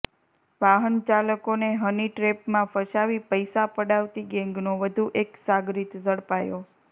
વાહનચાલકોને હની ટ્રેપમાં ફસાવી પૈસા પડાવતી ગેંગનો વધુ એક સાગરિત ઝડપાયો